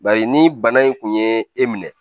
Bari ni bana in kun ye e minɛ